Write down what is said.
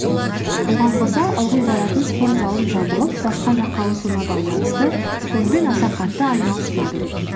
оған қоса ылғи баратын спортзалым жабылып басқа жаққа ауысуына байланысты спортпен аса қатты айналыспадым